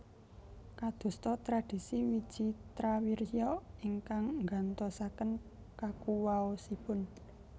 Kadosta tradhisi Wicitrawirya ingkang nggantosaken kakuwaosipun